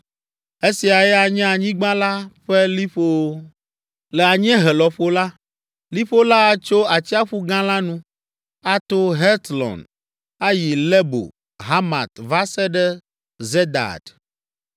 “Esiae anye anyigba la ƒe liƒowo. “Le anyiehe lɔƒo la, liƒo la atso Atsiaƒu Gã la nu, ato Hetlon ayi Lebo Hamat va se ɖe Zedad.